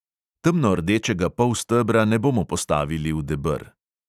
Temnordečega polstebra ne bomo postavili v deber.